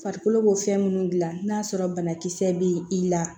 Farikolo b'o fɛn minnu dilan n'a sɔrɔ banakisɛ bɛ i la